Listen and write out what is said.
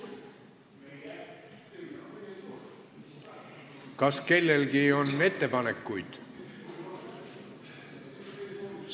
Kas kellelgi on ettepanekuid?